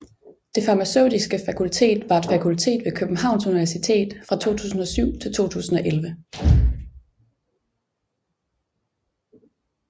Det Farmaceutiske Fakultet var et fakultet ved Københavns Universitet fra 2007 til 2011